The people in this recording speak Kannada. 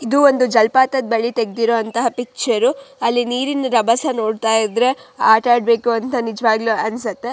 ಇದು ಒಂದು ಜಲಪಾತದ ಬಳಿ ತೆಗ್ದಿರೋ ಅಂತ ಪಿಕ್ಚರ್ ಅಲ್ಲಿ ನೀರಿನ ಜಲಪಾತದ ಬಳಿ ತೆಗ್ದಿರೋ ಅಂತ ಪಿಕ್ಚರ್ ಅಲ್ಲಿ ರಭಸ ನೋಡಿದ್ರೆ ಆಟ ಆಡ್ಬೇಕು ಅಂತ ನಿಜ್ವಾಗ್ಲೂ ಅನ್ಸುತ್ತೆ.